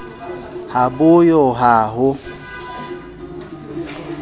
ha bo yo ha ho